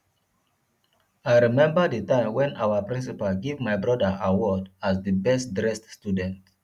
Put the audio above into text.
i remember the time wen our principal give my broda award as the best dressed student